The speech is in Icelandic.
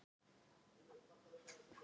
Marsibil